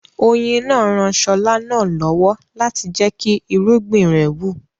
Oyin náà ran Ṣọlá náà lọ́wọ́ láti jẹ́kí irúgbìn rẹ̀ wù